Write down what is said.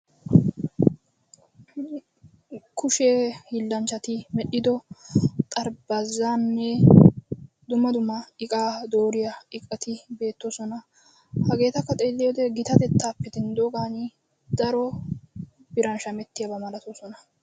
Kushe hiillanchchati medhdhido xarapheezzaanne dumma dumma iqaa dooriya iqati beettoosona. Hageetakka xeelliyode gitattaappe denddoogaani daro biran shamettiyaba malatoosona.